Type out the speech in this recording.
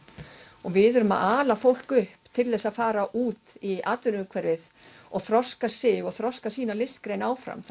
og við erum að ala fólk upp til að fara út í atvinnuumhverfið og þroska sig og þroska sína listgrein áfram